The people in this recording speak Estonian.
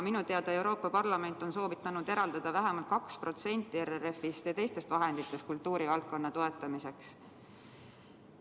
Minu teada on Euroopa Parlament soovitanud eraldada vähemalt 2% RRF‑ist ja teistest vahenditest kultuurivaldkonna toetamiseks.